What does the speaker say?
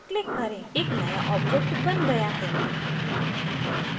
एक नया object बन गया है